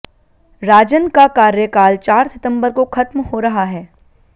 राजन का कार्यकाल चार सितंबर को खत्म हो रहा है